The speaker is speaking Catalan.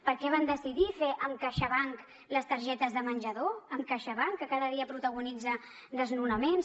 per què van decidir fer amb caixabank les targetes de menjador amb caixabank que cada dia protagonitza desnonaments